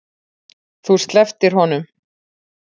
Þú slepptir honum.